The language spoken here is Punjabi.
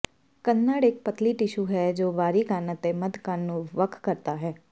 ਕੰਨੜ ਇੱਕ ਪਤਲੀ ਟਿਸ਼ੂ ਹੈ ਜੋ ਬਾਹਰੀ ਕੰਨ ਅਤੇ ਮੱਧ ਕੰਨ ਨੂੰ ਵੱਖ ਕਰਦਾ ਹੈ